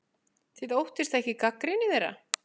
Þið óttist ekki gagnrýni þeirra?